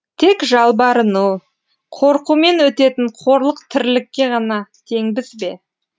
тек жалбарыну қорқумен өтетін қорлық тірлікке ғана теңбіз бе